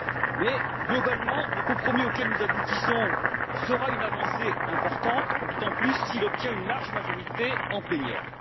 Mais, globalement, le compromis auquel nous aboutissons sera une avancée importante, d'autant plus s'il obtient une large majorité en plénière.